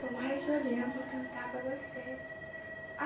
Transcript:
Tomara que eu lembre para cantar para vocês.